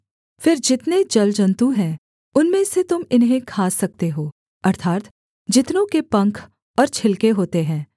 फिर जितने जलजन्तु हैं उनमें से तुम इन्हें खा सकते हो अर्थात् जितनों के पंख और छिलके होते हैं